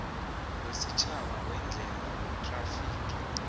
wesitjhaba weendlela wethrafigi